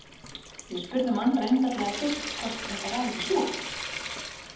Við spurðum Andra einfaldlega fyrst hvort þetta væri ekki súrt?